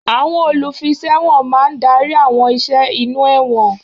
Àwọn olùfiṣẹ̀wọ̀n máa ń darí àwọn ìṣe inú ẹ̀wọ̀n.